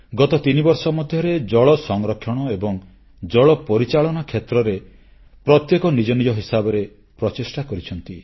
ଗତ ତିନିବର୍ଷ ମଧ୍ୟରେ ଜଳସଂରକ୍ଷଣ ଏବଂ ଜଳ ପରିଚାଳନା କ୍ଷେତ୍ରରେ ପ୍ରତ୍ୟେକ ନିଜ ନିଜ ହିସାବରେ ପ୍ରଚେଷ୍ଟା କରିଛନ୍ତି